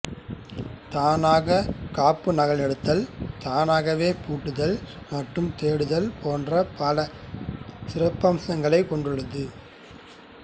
தானாக காப்புநகலெடுத்தல் தானாகவே பூட்டுதல் மற்றும் தேடுதல் போன்ற பல சிறப்பம்சங்களைக் கொண்டுள்ளது